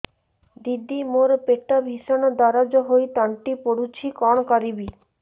ଦିଦି ମୋର ପେଟ ଭୀଷଣ ଦରଜ ହୋଇ ତଣ୍ଟି ପୋଡୁଛି କଣ କରିବି